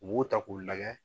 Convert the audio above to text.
U b'o ta k'u lajɛ